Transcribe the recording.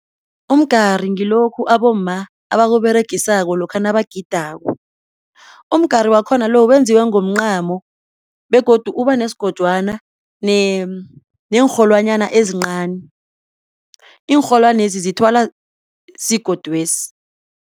Umgari ngilokhu abomma abakuberegisako lokha nabagidako. Umgari wakhona lo wenziwe ngomncamo begodu ubanesigojwana neenrholwanyana ezincani, iinrholwanezi zithwalwa sigodwesi.